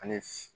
Ani